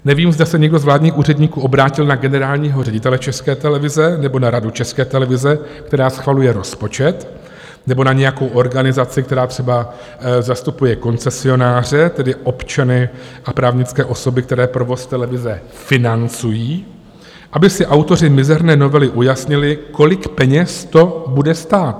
Nevím, zda se někdo z vládních úředníků obrátil na generálního ředitele České televize nebo na Radu České televize, která schvaluje rozpočet, nebo na nějakou organizaci, která třeba zastupuje koncesionáře, tedy občany a právnické osoby, které provoz televize financují, aby si autoři mizerné novely ujasnili, kolik peněz to bude stát.